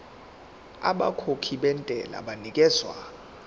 abakhokhi bentela banikezwa